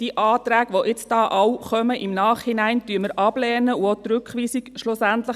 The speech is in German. Die Anträge, welche alle im Nachhinein noch gekommen sind, lehnen wir ab, auch die Rückweisung.